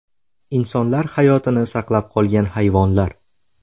Insonlar hayotini saqlab qolgan hayvonlar .